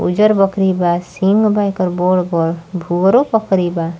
उजर बकरी बा सिंग बा औके बड़-बड़भूरौ बकरी बा।